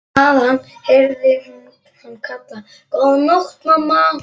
Þaðan heyrði hún hann kalla: Góða nótt mamma.